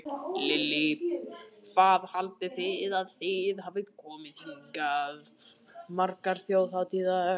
Lillý: Hvað haldið þið að þið hafið komið hingað margar þjóðhátíðar?